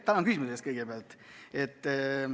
Tänan küsimuse eest!